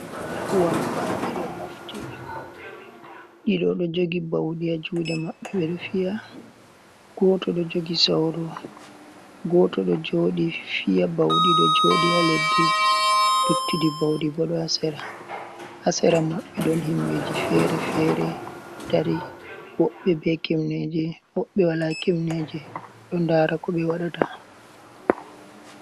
Wambaaɓe do mofti. Ɗido ɗo jogi bauɗi ha jude maɓɓe ɓe ɗo fiya. Goto ɗo jogi sauru, goto ɗo jooɗi fiya bauɗi, ɗo jooɗi ha leddi. Luttuɗi bauɗi bo ɗo ha sera. Ha sera maɓɓe ɗon himɓeji fere-fere ɗo dari, woɓɓe be kimneje, woɓɓe wala kimneje, ɗo ndara ko ɓe waɗata.